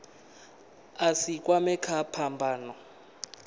a si kwamee kha phambano